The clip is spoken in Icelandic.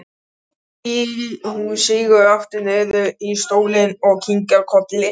Hún sígur aftur niður í stólinn og kinkar kolli brosleit.